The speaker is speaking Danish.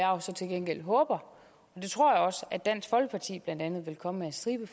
jo så til gengæld håber og det tror jeg også at dansk folkeparti blandt andet vil komme med en stribe